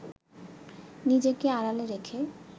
নিজেকে আড়ালে রেখে